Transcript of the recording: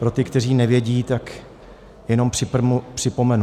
Pro ty, kteří nevědí, tak jenom připomenu.